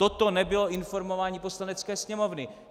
Toto nebylo informování Poslanecké sněmovny!